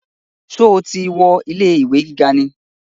Sọ ti wọ ilé ìwé gíga ni?